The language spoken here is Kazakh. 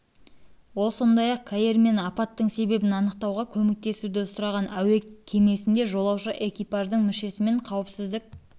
ол сондай-ақ каир мен апаттың себебін анықтауға көмектесуді сұраған әуе кемесінде жолаушы экипаждың мүшесі мен қауіпсіздік